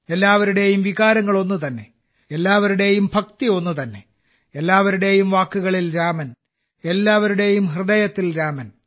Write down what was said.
എല്ലാവരുടെയും വികാരങ്ങൾ ഒന്നുതന്നെ എല്ലാവരുടെയും ഭക്തി ഒന്നുതന്നെ എല്ലാവരുടെയും വാക്കുകളിൽ രാമൻ എല്ലാവരുടെയും ഹൃദയത്തിൽ രാമൻ